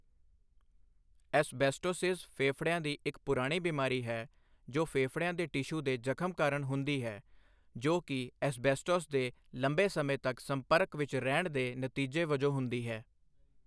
Asbestosis ਫੇਫੜਿਆਂ ਦੀ ਇੱਕ ਪੁਰਾਣੀ ਬਿਮਾਰੀ ਹੈ ਜੋ ਫੇਫੜਿਆਂ ਦੇ ਟਿਸ਼ੂ ਦੇ ਜ਼ਖ਼ਮ ਕਾਰਨ ਹੁੰਦੀ ਹੈ, ਜੋ ਕਿ ਐਸਬੈਸਟੋਸ ਦੇ ਲੰਬੇ ਸਮੇਂ ਤੱਕ ਸੰਪਰਕ ਵਿੱਚ ਰਹਿਣ ਦੇ ਨਤੀਜੇ ਵਜੋਂ ਹੁੰਦੀ ਹੈ।